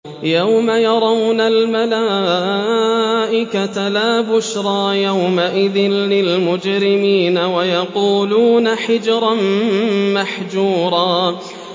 يَوْمَ يَرَوْنَ الْمَلَائِكَةَ لَا بُشْرَىٰ يَوْمَئِذٍ لِّلْمُجْرِمِينَ وَيَقُولُونَ حِجْرًا مَّحْجُورًا